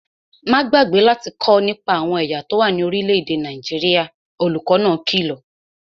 Má gbàgbé láti kọ́ nípa àwọn ẹ̀yà tó wà ní orílẹ̀-èdè Nàìjíríà, olùkó náà kìlọ̀